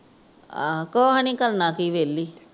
ਕੁਛ ਨਹੀਂ ਕਰਨਾ ਕਿ ਵੇਹਲੀ